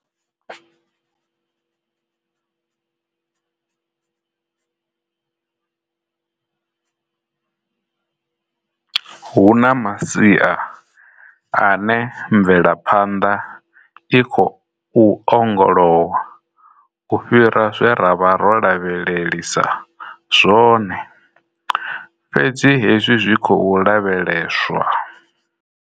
Huna masia ane mvelephanḓa i khou ongolowa u fhira zwe ra vha ro lavhelelisa zwone, fhedzi hezwi zwi khou lavheleswa.